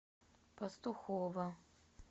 пастухова